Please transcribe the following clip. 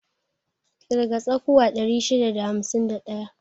Ƙirga tsakuwa 651.